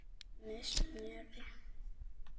Með smjöri.